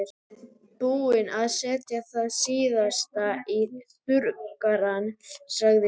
Búin að setja það síðasta í þurrkarann sagði hún.